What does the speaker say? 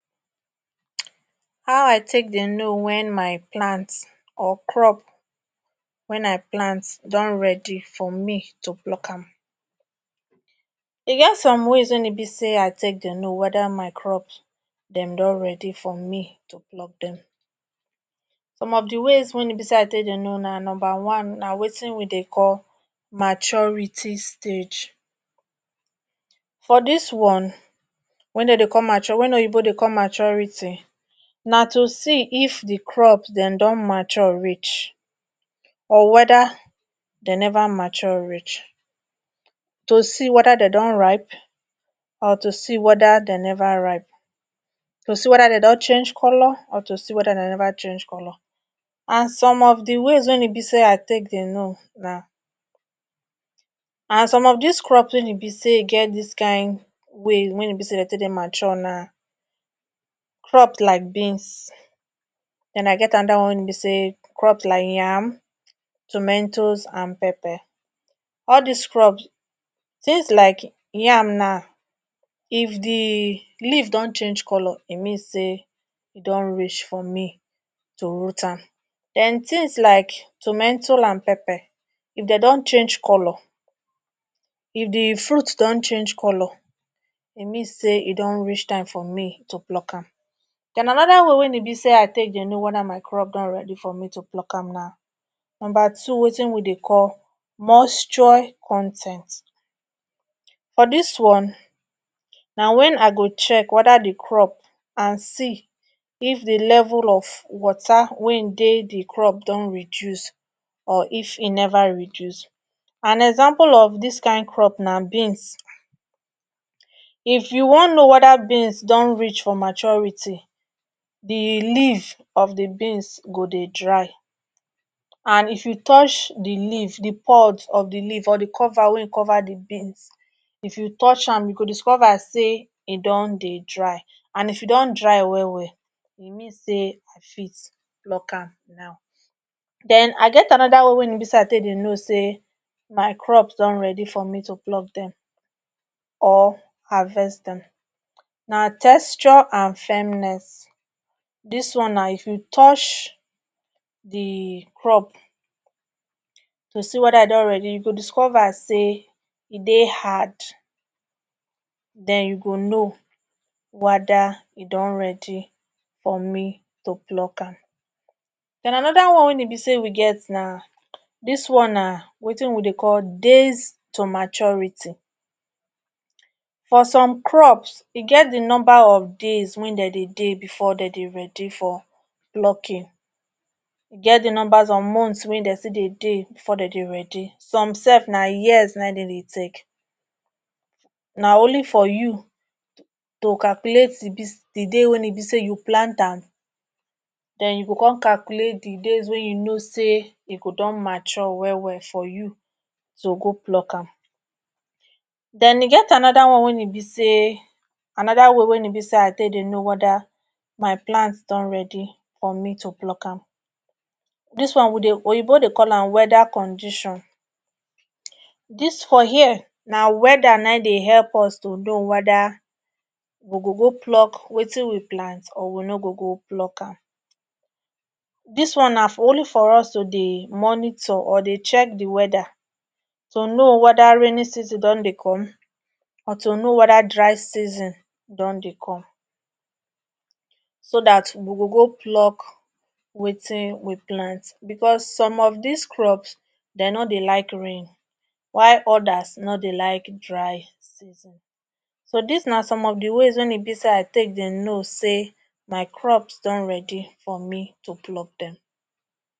how i take dey no wen my plants or crop wen i plant don redi for me to pluck am e get some ways wey e be say i take dey no weda my crops dem don redi for me to pluck dem some of di ways wen e be say i take dey no na numba one na wetin we dey call maturity stage for dis one wen dem dey call mature wen oyibo dey call maturity na too see if the crops dem don mature reach or weda den never mature reach to see weda de don ripe or to see weda de never ripe to see weda de don change color or to see weda de never change colour and some of the ways wein be say i take dey no na and some of this crops wey e be say ge this kin way wen e be say de tey dey mature na crops like beans then i get anoda one wein be say crops like yam tometos and pepper all this crops things like yam na if the leave don change color e mean say e don reach for me to root am then thins like tometos and pepper if de don change color if the fruit don change color e mean say e don reach time for me go to pluck am then anoda one wein e be say i take dey know weda my crop don ready for me to pluck am na number two wetin we dey mochoi con ten t for dis one na when I go check weda the crop and see if the level of water wein dey the crop don reduce or if e never reduce and example of this kind crops na beans if you wan no weda beans don reach for maturity the leave of the beans go dey dry and if you touch the leave the pod of the leave or the cover wein cover the beans if you touch am you go discover say e don dey dry and if e don dry well well e mean say you fit pluck am now den I get another way wein e be say i take dey no say my crop don ready for me to pluck them or harvest them na texture and firmness this one na if you touch the crop to see weda e don ready you go discover say e dey hard den you go know wada e don ready for me to pluck am them anoda one wein e be say we get na dis one na wetin we dey call days to maturity for some crops e get the number of days wen den dey dey before den dey ready for plucking e get the numbers of months wen den still dey dey before den dey ready some sef na years den dey take na only for you to calculate the biz the day wey e be say you plant am den you go con calculate the days wey you no say dey go don mature well well for you to go pluck am den e get anoda way wey e be say anoda one wein e be say anoda way wein e be say i take dey no weda my plants don ready for me to pluck am dis one oyibo dey call am weather condition this for here na weather nai dey help us to no weda we go go pluck wetin we plant or we nor go go pluck am dis one na for only for us to dey monitor or dey check the weather to now weda raining season don dey come or to no weda dey season don dey come so that we go go pluck wetin we plant because some of this crops de nor dey like rain while others nor dey like dry season so this na some of the ways wein be say i take dey no say my crops don ready for me to pluck them